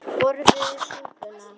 Þeir borðuðu súpuna.